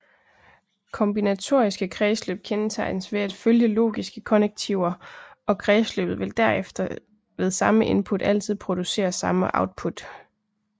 Kombinatoriske kredsløb kendetegnes ved at følge logiske konnektiver og kredsløbet vil derfor ved samme input altid producere samme output